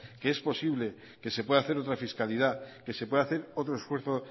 que es posible que se pueda hacer otra fiscalidad que se pueda hacer otro esfuerzo